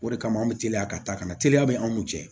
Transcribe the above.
O de kama an bɛ teliya ka taa ka na teliya bɛ an n'u cɛ